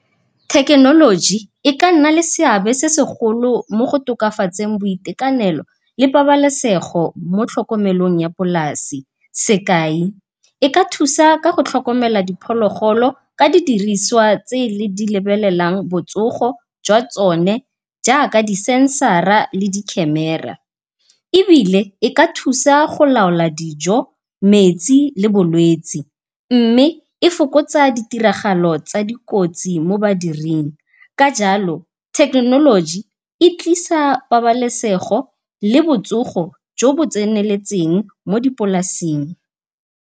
Thekenoloji e ka nna le seabe se segolo mo go tokafatseng boitekanelo le pabalesego mo tlhokomelong ya polase. Sekai, e ka thusa ka go tlhokomela diphologolo ka di diriswa tse di lebelelang botsogo jwa tsone jaaka di-censor-a le di-camera, ebile e ka thusa go laola dijo, metsi le bolwetse, mme e fokotsa di tiragalo tsa dikotsi mo badiring, ka jalo thekenoloji e tlisa pabalesego le botsogo jo bo tseneletseng mo dipolaseng.